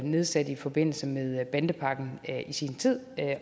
nedsat i forbindelse med bandepakken i sin tid